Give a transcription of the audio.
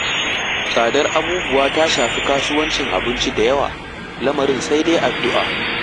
Tsadar abubuwa ta shafi kasuwancin abinci da yawa, lamarin sai dai addu'a.